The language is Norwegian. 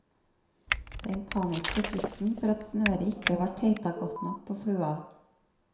Den paniske frykten for at snøret ikke var teitagodt nok på flua.